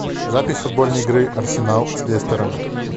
запись футбольной игры арсенал с лестером